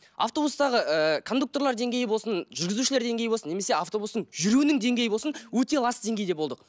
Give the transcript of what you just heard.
автобустағы ыыы кондукторлар деңгейі болсын жүргізушілер деңгейі болсын немесе автобустың жүруінің деңгейі болсын өте лас деңгейде болдық